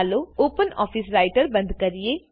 ચાલો open office writerબંદ કરીએ